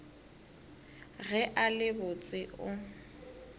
ge a le botse o